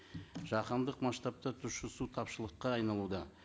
жаһандық масштабта тұщы су тапшылыққа айналуда